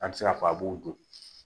An bɛ se k'a fɔ a b'o don